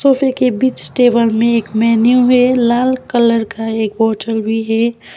Cafe के बिच table में एक मेनू है लाल कलर का एक बॉटल भी है।